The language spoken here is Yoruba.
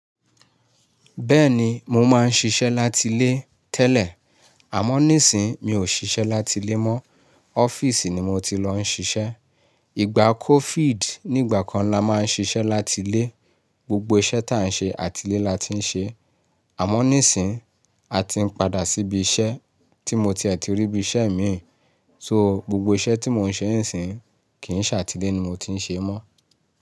Bẹ́ẹ̀ni, mo máa ń ṣiṣẹ́ láti lé tẹ́lẹ̀, àmọ́ nísìí mi ò ṣiṣẹ́ láti lé mọ́, ọ́fíìsì ni mo ti lọ ń ṣiṣẹ́. Igba COVID nígbà kan la máa ń ṣiṣẹ́ láti lé, gbogbo iṣẹ́ tí a ń ṣe àti lé la ti ń ṣe. Àmọ́ nísìí a ti ń padà síbi iṣẹ́ tí mo tiẹ̀ ti rí bi iṣẹ́ mi, so gbogbo iṣẹ́ tí mò ń ṣe nísìí kì í ṣe àti lé ni mo ti ń ṣe ẹ́ mọ́